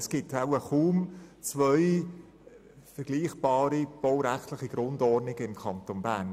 Es gibt wohl kaum zwei vergleichbare baurechtliche Grundordnungen im Kanton Bern.